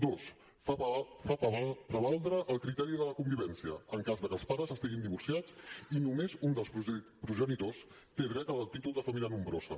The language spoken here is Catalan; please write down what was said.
dos fa prevaldre el criteri de la convivència en cas que els pares estiguin divorciats i només un dels progenitors té dret al títol de família nombrosa